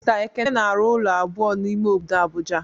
Mister ekene na-arụ ụlọ abụọ n'ime obodo Abuja.